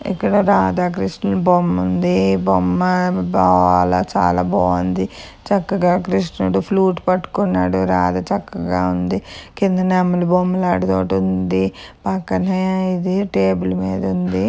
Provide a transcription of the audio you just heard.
ఇక్కడ రాధ కృషణుల బొమ్మ ఉంది బొమ్మ బాల--చాలా బావుంది చక్కగా కృష్ణుడు ఫ్లూట్ పట్టుకున్నాడు రాధ చక్కగా ఉంది కింద నెమలి బొమ్మలు అడుగు ఒకటుంది పక్కనే ఇది టేబల్ మీద ఉంది.